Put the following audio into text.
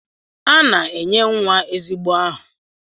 A na-enye nwa ezigbo aha